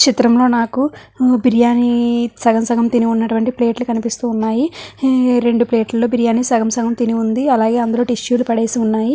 చిత్రం లో నాకు బిర్యానీ ఈ సగం సగం తిని ఉన్నటువంటి ప్లేట్లు కనిపిస్తూ ఉన్నాయి రెండు ప్లేటులో బిర్యానీ సగం సగం తిని ఉంది అలాగే అందులో టిష్యూలు పడేసి ఉన్నాయి.